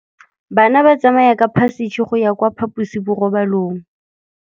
Bana ba tsamaya ka phašitshe go ya kwa phaposiborobalong.